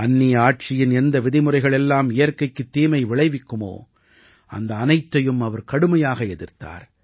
அந்நிய ஆட்சியின் எந்த விதிமுறைகள் எல்லாம் இயற்கைக்குத் தீமை விளைவிக்குமோ அந்த அனைத்தையும் அவர் கடுமையாக எதிர்த்தார்